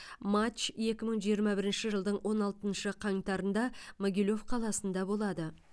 матч екі мың жиырма бірінші жылдың он алтыншы қаңтарында могилев қаласында болады